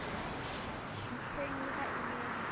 ntlheng le ha e le